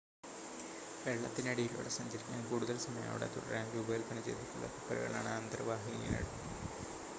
വെള്ളത്തിനടിയിലൂടെ സഞ്ചരിക്കാനും കൂടുതൽ സമയം അവിടെ തുടരാനും രൂപകൽപ്പന ചെയ്തിട്ടുള്ള കപ്പലുകളാണ് അന്തർവാഹിനികൾ